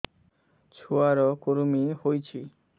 ଛୁଆ ର କୁରୁମି ହୋଇଛି